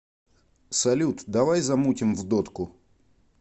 салют давай замутим в дотку